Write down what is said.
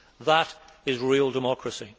That is real democracy.